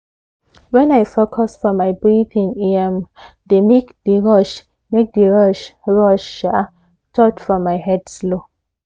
when i focus for my breathing e um dey make d rush make d rush rush um thought for my head slow